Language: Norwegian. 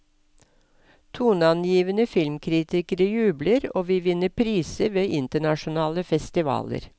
Toneangivende filmkritikere jubler og vi vinner priser ved internasjonale festivaler.